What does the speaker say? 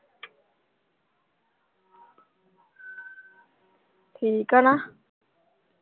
ਠੀਕ ਆ ਨਾ